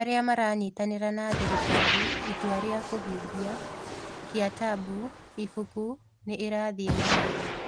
Arĩa maranyitanĩra na thirikari: Itua rĩa kũhingia: Kytabu(Ibuku) nĩ ĩrathiĩ na mbere